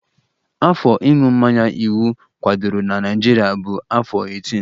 Afọ ịṅụ mmanya iwu kwadoro na Naịjirịa bụ afọ 18